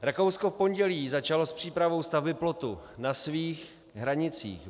Rakousko v pondělí začalo s přípravou stavby plotu na svých hranicích.